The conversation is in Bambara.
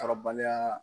Kɔrɔbaliya